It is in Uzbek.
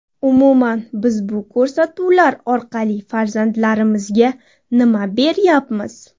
Umuman, biz bu ko‘rsatuvlar orqali farzandlarimizga nima beryapmiz?